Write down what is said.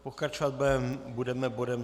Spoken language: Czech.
Pokračovat budeme bodem